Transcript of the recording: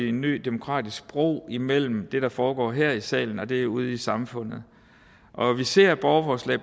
en ny demokratisk bro imellem det der foregår her i salen og det ude i samfundet og vi ser borgerforslag